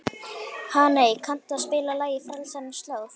Hanney, kanntu að spila lagið „Frelsarans slóð“?